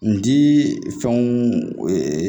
N dii fɛnw